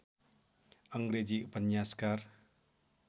अङ्ग्रेजी उपन्यासकार